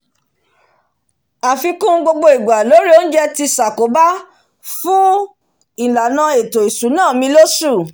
àfikún gbogbo igbà lórí oúnjẹ ti sàkóbá fún ìlànà ètò ìsúná mi lósù